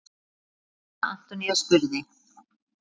Lára Antonía spurði.